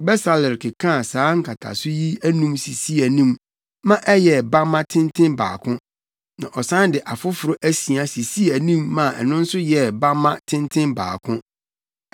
Besaleel kekaa saa nkataso yi anum sisii anim ma ɛyɛɛ bamma tenten baako na ɔsan de afoforo asia sisii anim maa ɛno nso yɛɛ bamma tenten baako.